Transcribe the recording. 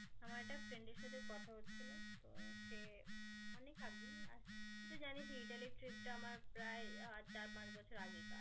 আমার একটা friend এর সাথে কথা হচ্ছিল তো সে অনেক আগেই আর তুই তো জানিসই ইতালির trip টা আমার প্রায় চার পাঁচ বছর আগেকার.